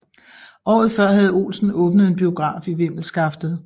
Året før havde Olsen åbnet en biograf i Vimmelskaftet